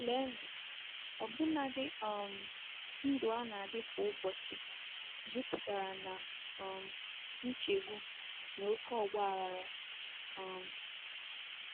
Leenụ, ọbụnadi um ndụ a na-adị kwa ụbọchị jupụtara ná um nchegbu na oké ọgba aghara! um